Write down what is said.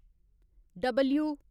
W